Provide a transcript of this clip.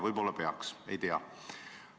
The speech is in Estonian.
Võib-olla ta peaks seda tegema, ei tea.